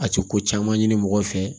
A tɛ ko caman ɲini mɔgɔ fɛ